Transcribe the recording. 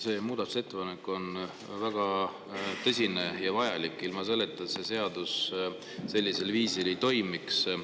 See muudatusettepanek on väga tõsine ja vajalik, ilma selle ta see seadus viisil ei toimiks.